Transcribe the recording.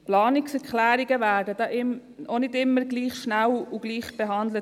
Planungserklärungen werden auch nicht immer gleich schnell und gleichbehandelt;